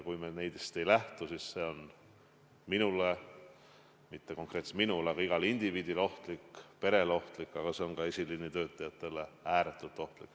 Kui me nendest ei lähtu, siis see on minule – mitte konkreetselt minule, vaid igale indiviidile – ohtlik, peredele ohtlik, esiliini töötajatele aga ääretult ohtlik.